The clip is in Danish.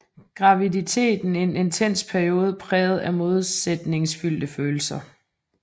Graviditeten en intens periode præget af modsætningsfyldte følelser